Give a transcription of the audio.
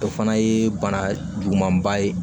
O fana ye bana juguman ba ye